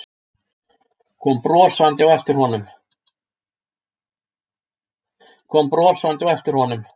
Kom brosandi á eftir honum.